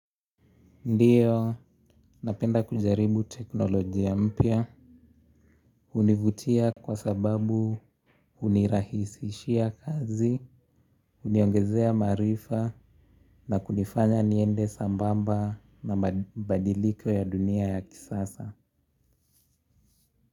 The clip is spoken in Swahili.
Ndiyo, napenda kujaribu teknolojia mpya. Univutia kwa sababu unirahisishia kazi, uniongezea maarifa na kunifanya niende sambamba na mabadiliko ya dunia ya kisasa.